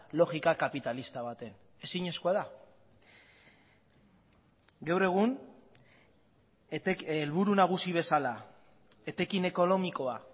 logika kapitalista baten ezinezkoa da gaur egun helburu nagusi bezala etekin ekonomikoa